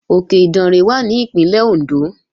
Òkè Ìdànrè wà ní Ìpínlẹ̀ Òndó